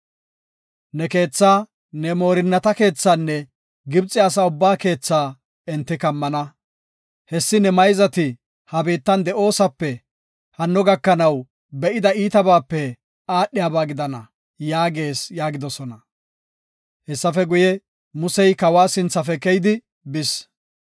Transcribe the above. Ne keethaa, ne moorinnata keethaanne Gibxe asaa ubbaa keethaa enti kumana. Hessi ne mayzati ha biittan de7osape hano gakanaw be7ida iitabaape aadhiyaba gidana’ yaagees” yaagidosona. Hessafe guye, Musey kawa sinthafe keyidi bis.